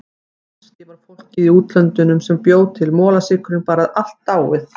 Kannski var fólkið í útlöndunum sem bjó til molasykurinn bara allt dáið.